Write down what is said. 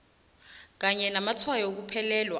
kanye namatshwayo wokuphelelwa